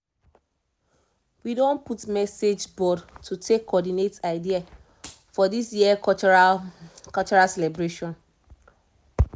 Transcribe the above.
we don put message board to take coordinate idea for this year cultural cultural celebration